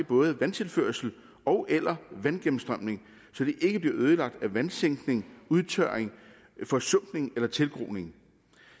både vandtilførsel ogeller vandgennemstrømning så de ikke bliver ødelagt af vandsænkning udtørring forsumpning eller tilgroning